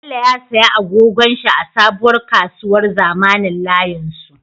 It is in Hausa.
Bello ya siya agogon shi a sabuwar kasuwar zamanin layin su